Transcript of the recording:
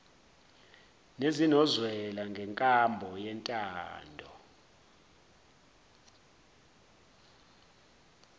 nezinozwela ngenkambo yentando